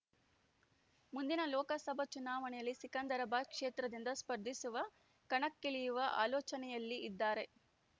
ಮುಂದಿನ ಲೋಕಸಭಾ ಚುನಾವಣೆಯಲ್ಲಿ ಸಿಕಂದರಾಬಾದ್‌ ಕ್ಷೇತ್ರದಿಂದ ಸ್ಪರ್ಧಿಸುವ ಕಣಕ್ಕಿಳಿಯುವ ಆಲೋಚನೆಯಲ್ಲಿ ಇದ್ದಾರೆ